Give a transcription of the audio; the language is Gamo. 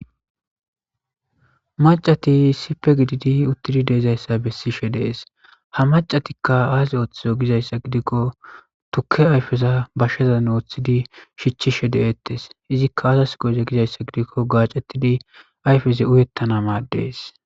macati sipe gididi uttidi deezayssa bessishe dees ha macatikka aase ooththizo gizayssa gidikko tukke ayfeza bashsheza nooththidi shichchishe de7eettes izikka asas goze gizayssa gidikko gaacettidi ayfeze uyettana madees